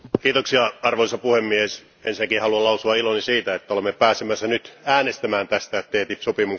Arvoisa puhemies, ensinnäkin haluan lausua iloni siitä, että olemme pääsemässä nyt äänestämään TTIP sopimuksesta.